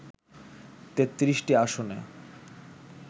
৩৩টি আসনে